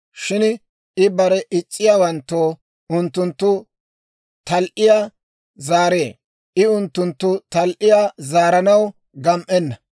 Shin I barena is's'iyaawanttoo unttunttu tal"iyaa zaaree; I unttunttu tal"iyaa zaaranaw gam"enna.